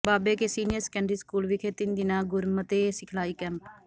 ਬਾਬੇ Ke senior secondary school ਵਿਖੇ ਤਿੰਨਾਂ ਦਿਨਾਂ ਗੁਰਮਤਿ ਸਿਖਲਾਈ ਕੈਂਪ